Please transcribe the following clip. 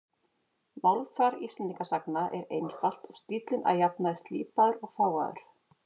Málfar Íslendingasagna er einfalt og stíllinn að jafnaði slípaður og fágaður.